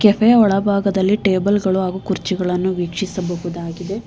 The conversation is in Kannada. ಕೆಪೆ ಒಳಭಾಗದಲ್ಲಿ ಟೇಬಲ ಗಳು ಹಾಗು ಕುರ್ಚಿಗಳನ್ನು ವೀಕ್ಷಿಸಬಹುದಾಗಿದೆ.